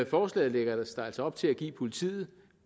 forslaget lægges der altså op til at give politiet